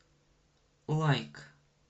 лайк